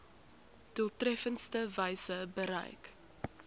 doeltreffendste wyse bereik